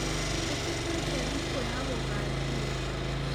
Tũtĩtũĩte thĩkũ ya gũgathiĩ